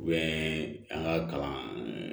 an ka kalan